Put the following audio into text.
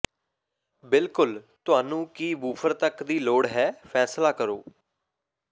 ਬਿਲਕੁਲ ਤੁਹਾਨੂੰ ਕੀ ਵੂਫ਼ਰ ਤੱਕ ਦੀ ਲੋੜ ਹੈ ਫੈਸਲਾ ਕਰੋ